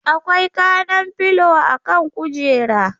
Akwai kanan filo a kan kujera.